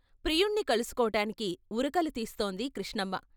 ప్రియుణ్ణి కలుసుకోటానికి ఉరకలు తీస్తోంది కృష్ణమ్మ.